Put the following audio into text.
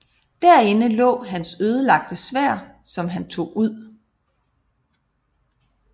Derinde lå hans ødelagte sværd som han tog ud